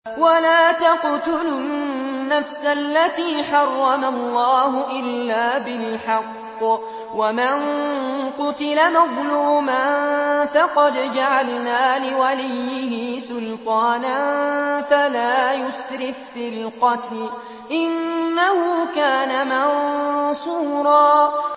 وَلَا تَقْتُلُوا النَّفْسَ الَّتِي حَرَّمَ اللَّهُ إِلَّا بِالْحَقِّ ۗ وَمَن قُتِلَ مَظْلُومًا فَقَدْ جَعَلْنَا لِوَلِيِّهِ سُلْطَانًا فَلَا يُسْرِف فِّي الْقَتْلِ ۖ إِنَّهُ كَانَ مَنصُورًا